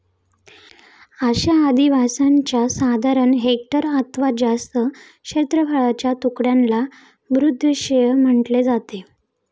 अशा आधिवासांच्या साधारण हेक्टर अथवा जास्त क्षेत्रफळाच्या तुकड्यांना भूदृषिय म्हटले जाते.